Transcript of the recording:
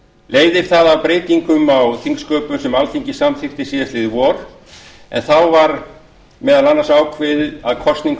leiðir það af breytingum á þingsköpum sem alþingi samþykkti síðastliðið vor en þá var meðal annars ákveðið að kosning